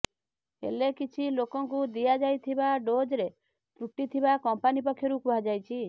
ହେଲେ କିଛି ଲୋକଙ୍କୁ ଦିଆଯାଇଥିବା ଡୋଜରେ ତ୍ରୁଟି ଥିବା କମ୍ପାନୀ ପକ୍ଷରୁ କୁହାଯାଇଛି